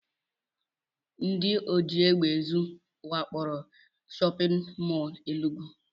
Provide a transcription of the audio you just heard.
Ndị ojiegbeezu wakporo shọpịn mọl Enugu